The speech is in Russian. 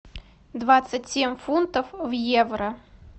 двадцать семь фунтов в евро